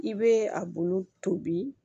I bɛ a bolo tobi